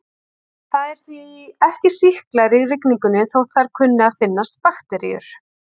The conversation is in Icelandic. Það eru því ekki sýklar í rigningunni þótt þar kunni að finnast bakteríur.